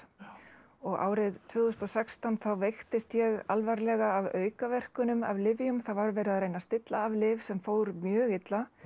og árið tvö þúsund og sextán þá veiktist ég alvarlega af aukaverkunum af lyfjum það var verið að reyna að stilla af lyf sem fór mjög illa